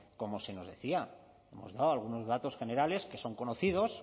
como se nos decía hemos dado algunos datos generales que son conocidos